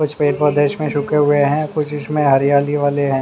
कुछ पेड़ पौधे इसमें सूखे हुए हैं कुछ इसमें हरियाली वाले हैं।